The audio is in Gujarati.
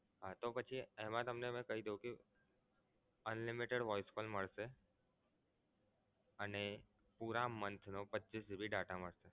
તો પછી એમા તમને મે કહ્યું કે limited voice call મળશે. અને પૂરા month નો પચ્ચીસ GB data મળશે.